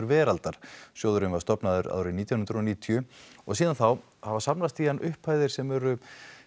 veraldar sjóðurinn var stofnaður árið nítján hundruð og níutíu og síðan þá hafa safnast í hann upphæðir sem eru